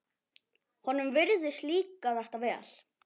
Honum virðist líka þetta vel.